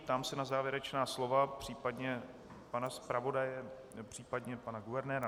Ptám se na závěrečná slova případně pana zpravodaje, případně pana guvernéra.